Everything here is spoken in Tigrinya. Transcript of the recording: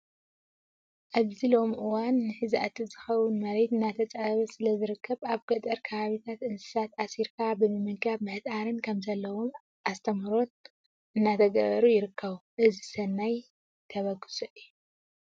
ኣብዚ ሎሚ እዋን ንሕዛእቲ ዝኸውን መሬት እናተፃበበ ስለዝርከብ ኣብ ጠገር ከባቢታት እንስሳት ኣሲርካ ብምምጋብን ምህጣርን ከም ዘለዎም ኣስተምህሮራት እናተገበሩ ይርከቡ። እዚ ሰናት ተበግሶ እዩ።